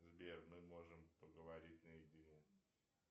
сбер мы можем поговорить на едине